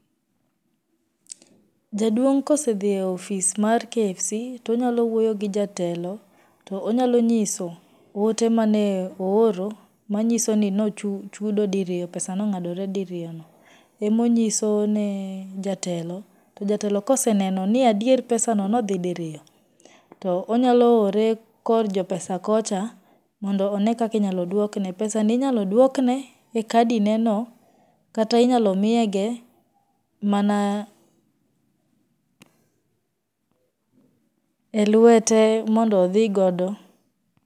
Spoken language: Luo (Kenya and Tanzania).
Jaduong kosedhi e ofis mar KFC, to onyalo wuoyo gi jatelo to onyalo nyiso ote mane ooro manyiso ni nochudo diriyo pesa nong'adore diriyono, emonyiso ne jatelo to jatelo koseneno ni adier pesa no nodhii diriyo to onyaloore kor jopesa kocha, mondo onee kaka inyaloduokne. Pesano inyaloduokne e kadineno kata inyalo miyege mana e lwete mondo odhi go.